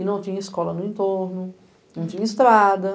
E não tinha escola no entorno, não tinha estrada.